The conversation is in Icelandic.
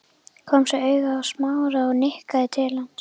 Kom svo auga á Smára og nikkaði til hans.